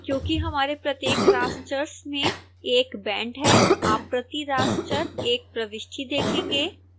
क्योंकि हमारे प्रत्येक rasters में 1 बैंड है आप प्रति raster 1 प्रविष्टि देखेंगे